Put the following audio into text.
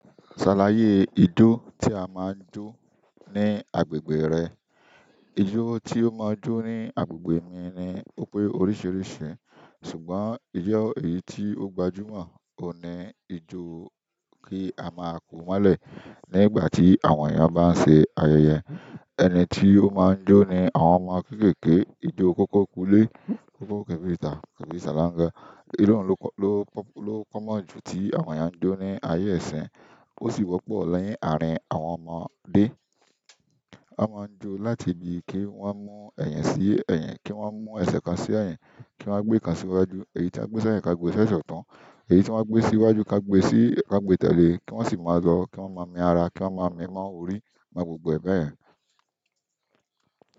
Ṣàlàyé ijó tí a máa ń jó ní agbègbè rẹ. Ijó tí ó máa ń jó ní agbègbè mi ni ó pé oríṣìíríṣìí ṣùgbọ́n ijo èyí tí ó gbajúmọ̀ ó ni ijó kí a máa kú mọ́lẹ̀ ní ìgbà tí àwọn èèyàn bá ń ṣe ayẹyẹ. Ẹni tí ó máa ń jó ni àwọn ọmọ kéékèèké, ijó kókó kúulé, kókó kẹ̀bẹ̀tà tàbí sáláńgá. Ìru n ló kọ́, ló, ló pọ́mọ jù tí àwọn èèyàn ń jó ní ayé ìsìn, ó sì wọ́pọ̀ ni àárín àwọn ọmọdé. A máa ń jó láti ibi kí wọ́n mú ẹ̀yin sí ẹ̀yin, kí wọ́n máa mú ẹsẹ̀ kan sí ẹyin, kí wọ́n máa gbé kan síwájú, èyí tí a gbé sẹ́yìn ká gbé e sẹ́sẹ̀ ọ̀tun, èyí tí wọ́n bá gbé síwájú ká gbé sí, ká gbé tẹ̀lé kí wọ́n sì máa lọ, kí wọ́n máa mi ara, kí wọ́n máa mi n mọ orí, máa gbogbo ẹ̀ bẹ́ yen.